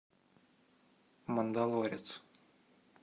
мандалорец